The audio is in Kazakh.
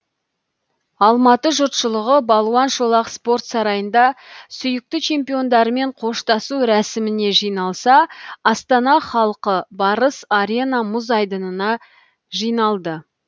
алматы жұртшылығы балуан шолақ спорт сарайында сүйікті чемпиондарымен қоштасу рәсіміне жиналса астана халқы барыс арена мұз айдынына жиналды